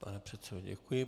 Pane předsedo, děkuji.